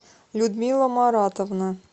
людмила маратовна